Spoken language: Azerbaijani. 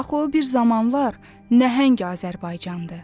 Axı o bir zamanlar nəhəng Azərbaycandır.